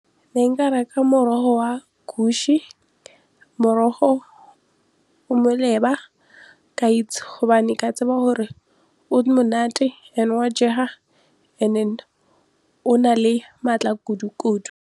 Ne nka reka morogo wa , morogo o moleba ka itse hobane ka tseba hore o monate and-e wa jega and then o na le matla kudukudu.